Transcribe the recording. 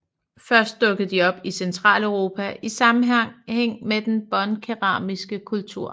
Først dukkede de op i Centraleuropa i sammenhæng med den båndkeramiske kultur